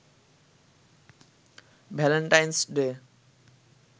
Valentine's day